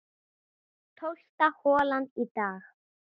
Tólfta holan í dag